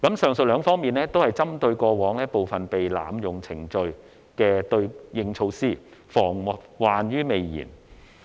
上述兩方面均是針對過往部分被濫用程序的對應措施，防患於未然。